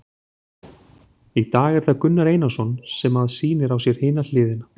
Í dag er það Gunnar Einarsson sem að sýnir á sér hina hliðina.